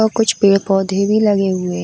और कुछ पेड़ पौधे भी लगे हुए --